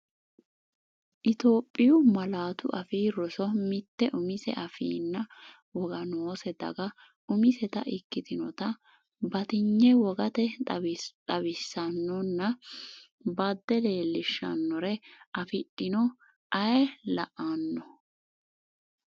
Itophiyu Malaatu Afii Roso Mitte umise afiinna woga noose daga umiseta ikkitinota batinye wogate xawisaanonna bade leellishshannore afidhino, ayee la’anno?